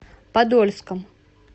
подольском